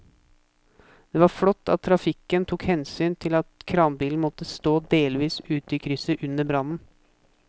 Det var flott at trafikken tok hensyn til at kranbilen måtte stå delvis ute i krysset under brannen.